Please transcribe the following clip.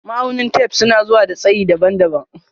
Ma'aunin tef suna zuwa da tsayi daban-daban.